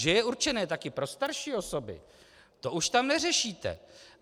Že je určené taky pro starší osoby, to už tam neřešíte.